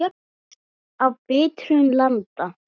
Bragð af bitrum landa.